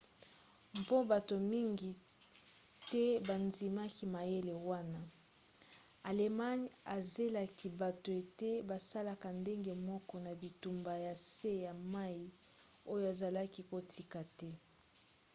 mpo bato mingi te bandimaki mayele wana allemagne ezelaki bato ete basalaka ndenge moko na bitumba ya se ya mai oyo azalaki kotika te